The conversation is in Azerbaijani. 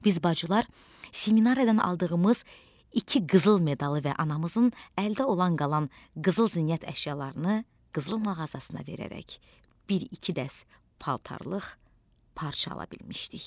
Biz bacılar seminariyadan aldığımız iki qızıl medalı və anamızın əldə olan qalan qızıl zinət əşyalarını qızıl mağazasına verərək bir iki dəst paltarlıq parça ala bilmişdik.